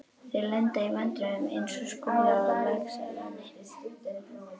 Þeir lenda í vandræðum eins og Skúli á Laxalóni.